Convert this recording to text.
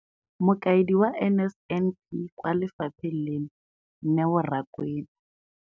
Mokaedi wa NSNP kwa lefapheng leno, Neo Rakwena.